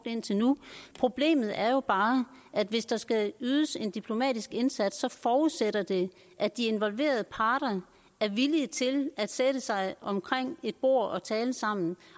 i indtil nu problemet er jo bare at hvis der skal ydes en diplomatisk indsats forudsætter det at de involverede parter er villige til at sætte sig omkring et bord og tale sammen